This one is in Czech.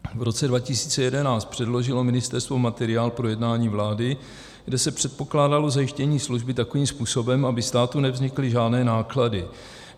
V roce 2011 předložilo ministerstvo materiál k projednání vlády, kde se předpokládalo zajištění služby takovým způsobem, aby státu nevznikly žádné náklady.